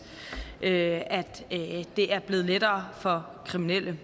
at det er blevet lettere for kriminelle